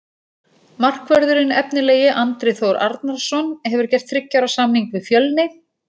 Markvörðurinn efnilegi Andri Þór Arnarson hefur gert þriggja ára samning við Fjölni.